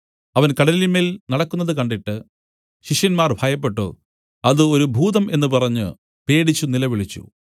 അവൻ കടലിന്മേൽ നടക്കുന്നത് കണ്ടിട്ട് ശിഷ്യന്മാർ ഭയപ്പെട്ടു അത് ഒരു ഭൂതം എന്നു പറഞ്ഞു പേടിച്ചു നിലവിളിച്ചു